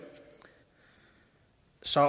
så